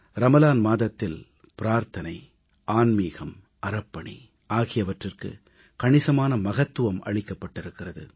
ரமலான் மாதத்தில் பிரார்த்தனை ஆன்மிகம் அறப்பணி ஆகியவற்றிற்கு கணிசமான மகத்துவம் அளிக்கப்பட்டிருக்கிறது